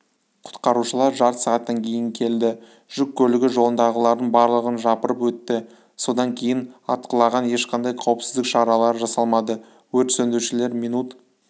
құтқарушылар жарты сағаттан кейін келді жүк көлігі жолындағылардың барлығын жапырып өтті содан кейін атқылаған ешқандай қауіпсіздік шаралары жасалмады өрт сөндірушілер минут